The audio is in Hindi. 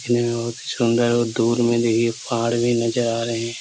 दिखने में बहुत ही सुन्दर और दूर में देखिए पहाड़ भी नज़र आ रहे है।